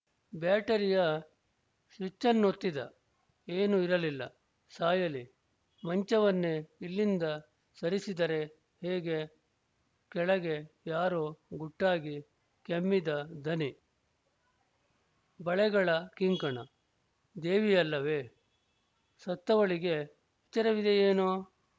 ಬೇಟರಿಯ ಸ್ವಿಚ್ಚನ್ನೊತ್ತಿದ ಏನೂ ಇರಲಿಲ್ಲ ಸಾಯಲಿ ಮಂಚವನ್ನೆ ಇಲ್ಲಿಂದ ಸರಿಸಿದರೆ ಹೇಗೆ ಕೆಳಗೆ ಯಾರೋ ಗುಟ್ಟಾಗಿ ಕೆಮ್ಮಿದ ದನಿ ಬಳೆಗಳ ಕಿಂಕಣ ದೇವಿಯಲ್ಲವೇ ಸತ್ತವಳಿಗೆ ಎಚ್ಚರವಿದೆಯೇನೋ